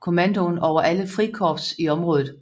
kommandoen over alle frikorps i området